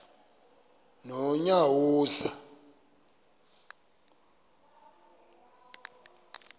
nonyawoza